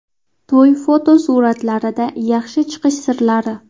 To‘y fotosuratlarida yaxshi chiqish sirlari.